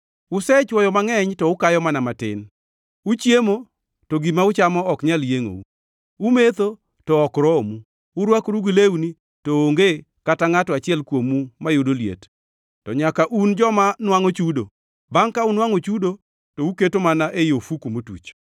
Usechwoyo mangʼeny, to ukayo mana matin; uchiemo, to gima uchamo ok nyal yiengʼou, umetho, to ok romu; urwakoru gi lewni, to onge kata ngʼato achiel kuomu mayudo liet; to nyaka un joma nwangʼo chudo, bangʼ ka unwangʼo chudo to uketo mana ei ofuku motuch.”